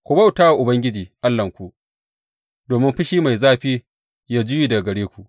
Ku bauta wa Ubangiji Allahnku, domin fushi mai zafi yă juye daga gare ku.